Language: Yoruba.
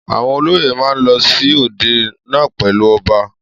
Àwọn olóyè ma ń lọ sí òde náà pèlú ọba